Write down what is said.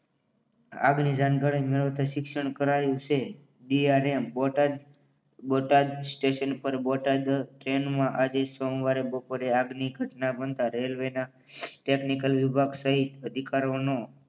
આગની જાણકારી મેળવતા શિક્ષણ કરાવ્યું છે બિયારણ બોટાદ બોટાદ સ્ટેશન પર બોટાદ ટ્રેનમાં આજે સોમવારે બપોરે આગની ઘટના બનતા રેલવેના ટેકનિકલ વિભાગ સહિત અધિકારોનો